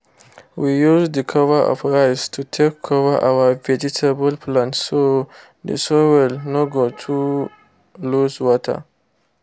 we use the cover of rice to take cover our vegetable plants so the soil no go too lose water